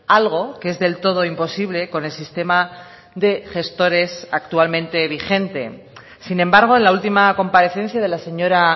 algo que es del todo imposible con el sistema de gestores actualmente vigente sin embargo en la última comparecencia de la señora